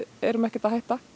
erum ekkert að hætta